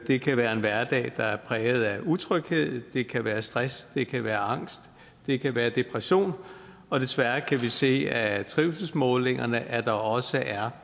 det kan være en hverdag der er præget af utryghed det kan være stress det kan være angst det kan være depression og desværre kan vi se af trivselsmålingerne at der også er